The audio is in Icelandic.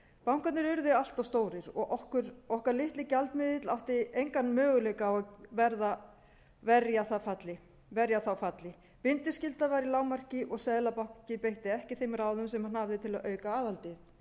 bankarnir urðu allt of stórir og okkar litli gjaldmiðill átti engan möguleika á að verja þá falli bindiskylda var í lágmarki og seðlabanki beitti ekki þeim ráðum sem hann hafði til að auka aðhaldið